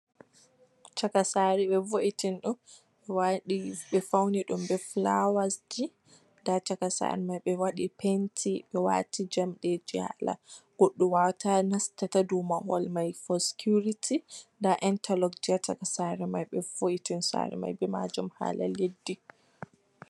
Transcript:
Chaka saare be vo'itin ɗum, ɓe waɗi ɓe faunai ɗum ɓe fulawasji, nda chaka saare Mai ɓe waɗi penti ɓe wati jamɗeji hala goɗɗo wawata nasta ta dou mai fo sikiuriti, nda Intaloks ha chaka saare Mai vo'itini saare hala leɗɗi.